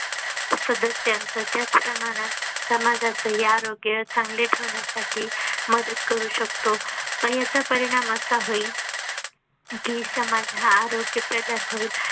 सदस्यांचा त्याच प्रमाणात समाजाचहि आरोग्या चांगले ठेवण्यासाठी मदत करू शकतो मग ह्याचा परिणाम असा होईल. कि समाज हा आरोग्य प्रधान होईल